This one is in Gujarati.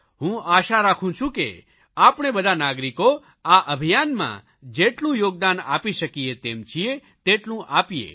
હું આશા રાખું છું કે આપણે બધા નાગરિકો આ અભિયાનમાં જેટલું યોગદાન આપી શકીએ તેમ છીએ તેટલું આપીએ